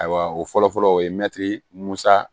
Ayiwa o fɔlɔ fɔlɔ o ye mɛtiri musa